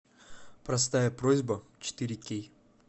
простая просьба четыре кей